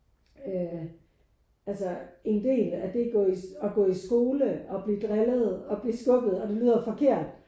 Øh altså en del af det at gå at gå i skole og blive drillet og blive skubbet og det lyder forkert